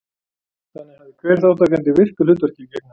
Þannig hafði hver þátttakandi virku hlutverki að gegna.